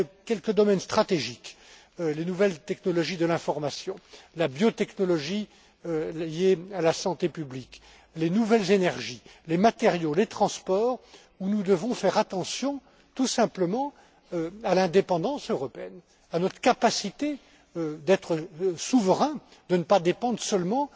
Il y a quelques domaines stratégiques, les nouvelles technologies de l'information, la biotechnologie liée à la santé publique, les nouvelles énergies, les matériaux, les transports, où nous devons tout simplement veiller à l'indépendance européenne, à notre capacité d'être souverain, de ne pas dépendre